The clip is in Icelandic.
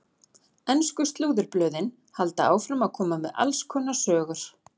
Ensku slúðurblöðin halda áfram að koma með alls konar sögur.